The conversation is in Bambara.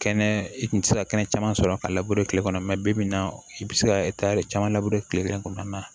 Kɛnɛ i kun tɛ se ka kɛnɛ caman sɔrɔ ka labure tile kɔnɔ mɛ bibi in na i bɛ se ka caman labure tile kelen kɔnɔna na